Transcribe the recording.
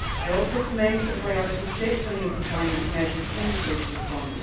I also commend the priority placed on youth employment measures in the Social Fund.